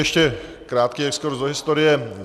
Ještě krátký exkurz do historie.